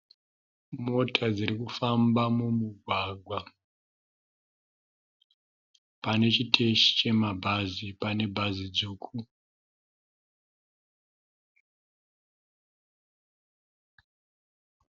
Mota dziri kufamba mumugwagwa. Pane chiteshi chemabhazi pane bhazi dzvuku.